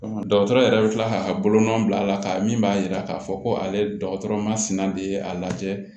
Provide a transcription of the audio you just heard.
dɔgɔtɔrɔ yɛrɛ bɛ tila k'a bolonɔ bila a la ka min b'a yira k'a fɔ ko ale dɔgɔtɔrɔ masina de ye a lajɛ